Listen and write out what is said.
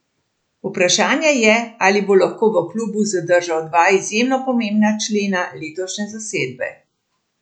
Vprašanje je, ali bo lahko v klubu zadržal dva izjemno pomembna člena letošnje zasedbe.